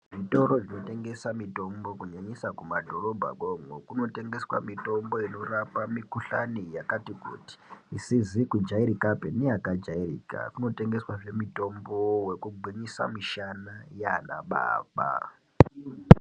Zvitoro zvinotengesa mitombo nyanyisa mumadhorobha mwo umomo kunotengeswa mitombo inorape mukuhlani yakati kuti isizi kujairikapi neyaka jairika kunotengeswa zve mutombo wekugwnyisa mishana yanababa.